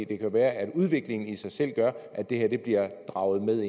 kan jo være at udviklingen i sig selv gør at det her bliver draget med